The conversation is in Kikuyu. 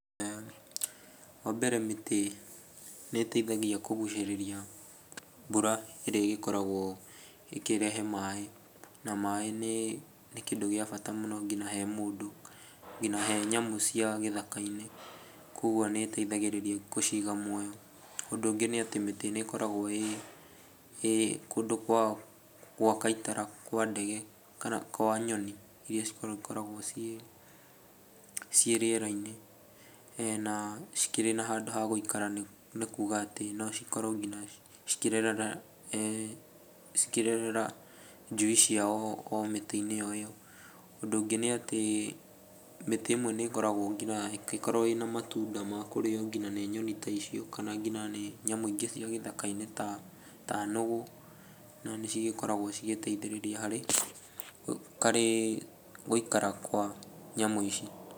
Wa mbere, mĩtĩ nĩ ĩteithagia kũgucĩrĩria mbura ĩrĩa ĩgĩkoragwo ĩkĩrehe maaĩ. Na maaĩ nĩ kĩndĩ gĩa bata mũno ngina he mũndũ, ngina he nyamũ cia gĩthaka-inĩ. Kũguo nĩ ĩtaithagĩrĩria gũciiga muoyo. Ũndũ ũngĩ nĩ atĩ mĩtĩ nĩ ĩkoragwo ĩ kũndũ gwa gwaka ĩtara kwa ndege kana kwa nyoni iria cikoragwo ciĩ rĩera-inĩ na cikĩrĩ na handũ ha gũikara nĩ kuuga atĩ no cikorwo ngina cikĩrerera njui ciao o mĩtĩ-iĩn o ĩyo. Ũndũ ũngĩ nĩ atĩ mĩtĩ ĩmwe nĩ ĩkoragwo nginya nĩĩkoragwo ĩna matunda ma kũrĩo ngina nĩ nyoni ta icio kana nginya nĩ nyamũ ingi cia gĩthaka-inĩ ta nũgũ, na cigĩkoragwo cigĩteithĩrĩria harĩ, harĩ gũikara kwa nyamũ ici.